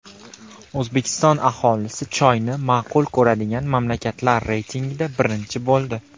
O‘zbekiston aholisi choyni ma’qul ko‘radigan mamlakatlar reytingida birinchi bo‘ldi.